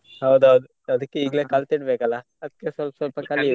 ಹೌದ್ ಹೌದ್ ಅದಿಕ್ಕೆ ಇಗ್ಲೇ ಕಲ್ತು ಕಲ್ತಿಡ್ಲೇಬೇಕಲ್ಲ ಅದಿಕ್ಕೆ ಸ್ವಲ್ಪ ಸ್ವಲ್ಪ .